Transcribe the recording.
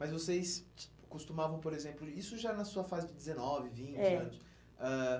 Mas vocês costumavam, por exemplo, isso já na sua fase de dezenove, vinte anos? É. Ãh